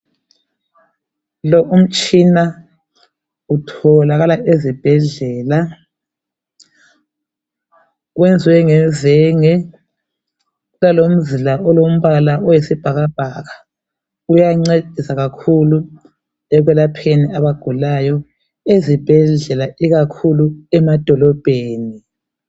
Lo umtshina utholakala ezibhedlela, wenzwe ngezenge elomzila olombala oyisibhakabhaka uyancedisa kakhulu ebantwini abagulayo ezibhedlela ikakhulu emadolobheni.